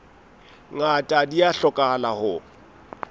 ngata di a hlokahala ho